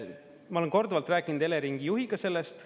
Ma olen korduvalt rääkinud Eleringi juhiga sellest.